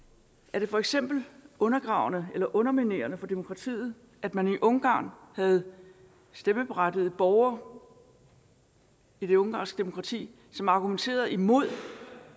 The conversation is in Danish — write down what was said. var det for eksempel undergravende eller underminerende for demokratiet at man i ungarn havde stemmeberettigede borgere i det ungarske demokrati som argumenterede imod